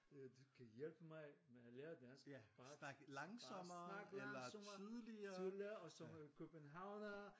Du kan hjælpe mig med at lære dansk bare bare snak langsommere tydligere og som en københavner